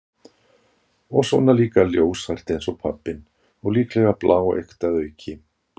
Og svona líka ljóshært eins og pabbinn- og líklega bláeygt að auki.